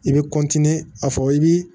I bɛ a fɔ i bi